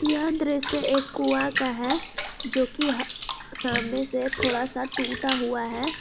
यह दृश्य एक कुआं का है जो कि यह सामने से थोड़ा सा टूटा हुआ है।